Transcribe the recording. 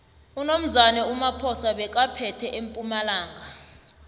unomzane umaphosa bekaphethe empumalanga